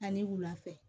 Ani wula fɛ